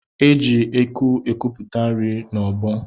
E ji eku ekuputa nri n'ọgbọ